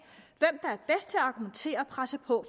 argumentere og presse på